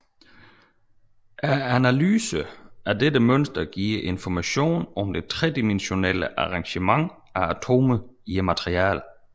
En analyse af dette mønster giver information om det tredimensionelle arrangement af atomer i materialet